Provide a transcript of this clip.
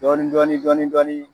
Dɔɔnin dɔɔnin dɔɔnin dɔɔnin!